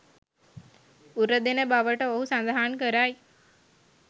උරදෙන බවට ඔහු සඳහන් කරයි